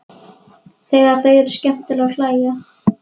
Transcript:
Þegar þau eru skemmtileg og hlæja.